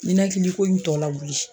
Ninɛkiliko in tɔ lawuli